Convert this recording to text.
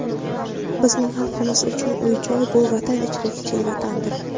Bizning xalqimiz uchun uy-joy – bu Vatan ichra kichik vatandir.